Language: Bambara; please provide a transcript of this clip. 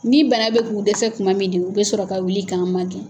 Ni bana bɛ k'u dɛsɛ kuma min de u bɛ sɔrɔ ka wuli k'an magɛn.